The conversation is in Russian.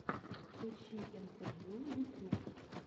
подключи интервью ютьюб